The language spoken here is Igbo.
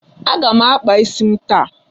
Aga m akpa isi m taa.